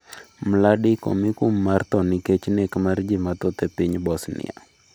Mladic omi kum mar tho nikech nek mar ji mathoth e piny Bosnia